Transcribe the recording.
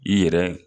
I yɛrɛ